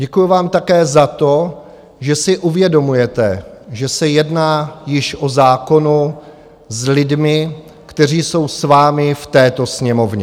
Děkuji vám také za to, že si uvědomujete, že se jedná již o zákonu s lidmi, kteří jsou s vámi v této Sněmovně.